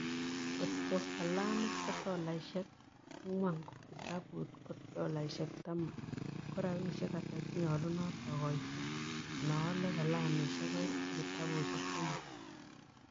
Ngot ko kalamit ko tolaisiek ang'wan ak kitabut ko dolaisiek taman, so korabisyek ata che nyolunot agooyto inooale kalamishiek oeng' ak kitabusiek somok